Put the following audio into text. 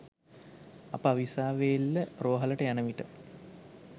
අප අවිස්සාවේල්ල රෝහලට යනවිට